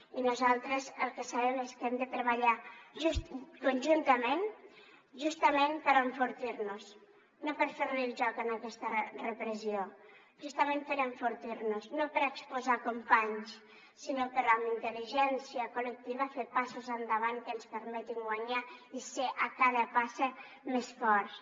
i nosaltres el que sabem és que hem de treballar conjuntament justament per enfortir nos no per fer li el joc a aquesta repressió justament per enfortir nos no per exposar companys sinó per amb intelligència col·lectiva fer passes endavant que ens permetin guanyar i ser a cada passa més forts